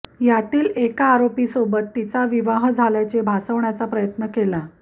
यातील एका आरोपीसोबत तिचा विवाह झाल्याचे भासवण्याचा प्रयत्न केला